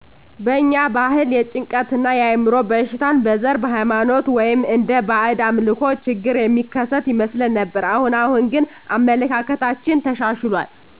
በእኛ ባህል የጭንቀት እና የአዕምሮ በሽታን በዘር ,በሃይማኖት ወይም እንደ ባእድ አምልኮ ችግር የሚከሰት ይመስለን ነበር። አሁን አሁን ግን አመለካከታችን ተሻሽሎል